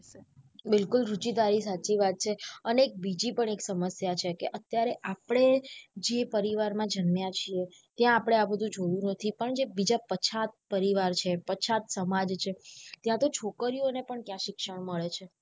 બિલકુલ રુચિ તારી સાચી વાત છે અને એક બીજીનપણ એક સમસ્યા છે કે અત્યારે આપળે જે પરિવાર માં જન્મ્યા છીએ ત્યાં આપળે આ બધું જોયું નથી પણ જે બીજા પછાત પરિવાર છે પછાત સમાજ છે ત્યાં તો છોકરીઓ ને પણ ક્યાં શિક્ષા મળે છે.